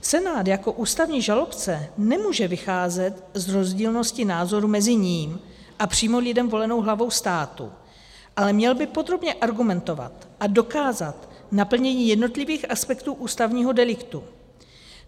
Senát jako ústavní žalobce nemůže vycházet z rozdílnosti názorů mezi ním a přímo lidem volenou hlavou státu, ale měl by podrobně argumentovat a dokázat naplnění jednotlivých aspektů ústavního deliktu.